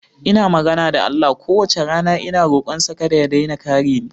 Ina magana da Allah kowace rana ina rokonsa kada ya daina kare ni.